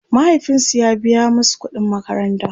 mahaifinsu ya biya masu ƙuɗin makaranta